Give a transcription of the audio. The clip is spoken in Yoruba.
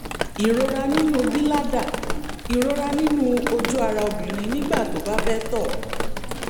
ìrora nínú bíládà ìrora nínú ojú ara obìnrin nígbà tó bá fẹ́ tọ̀